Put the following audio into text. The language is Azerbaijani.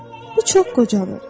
Bu çox qocadır.